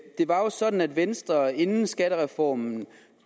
det var jo sådan at venstre inden skattereformen